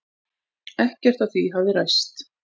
Ekkert af því hafi ræst.